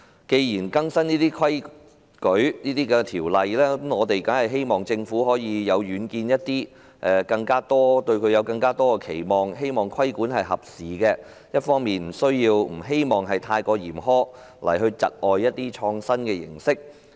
既然要更新這些規則和法例，我們當然希望政府更有遠見，我們對政府亦有更多期望，希望規管合時，又不會過於嚴苛，窒礙創新的形式。